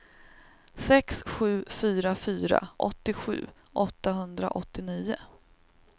sex sju fyra fyra åttiosju åttahundraåttionio